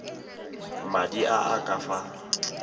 madi a a ka fa